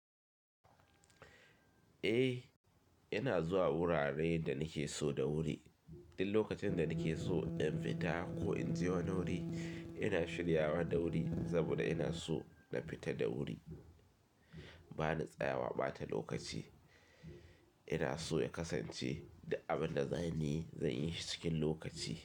Eh, ina zuwa wuraren da nake so da wuri. Ɗin lokacin da nake so in fita ko in je wani wuri ina shiryawa da wuri saboda ina so na fita da wuri. Bani tsayawa ɓata lokaci ina so ya kasance da abin da za ni yi, zan yi shi cikin lokaci.